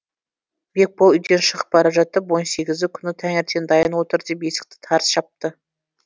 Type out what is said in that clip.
бекбол үйден шығып бара жатып он сегізі күні таңертең дайын отыр деп есікті тарс жапты